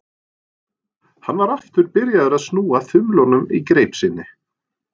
Hann var aftur byrjaður að snúa þumlunum í greip sinni.